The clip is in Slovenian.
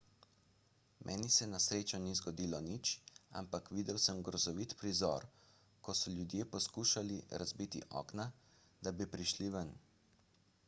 meni se na srečo ni zgodilo nič ampak videl sem grozovit prizor ko so ljudje poskušali razbiti okna da bi prišli ven